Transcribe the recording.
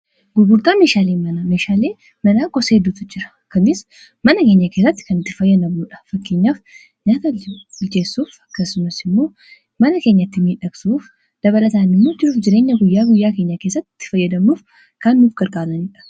Gugurtaa meeshaalee manaa iddoo meeshaaleen manaa itti gurguramanii fi gosoota heedduutu jira. Kunis faayidaa guddaa qabu.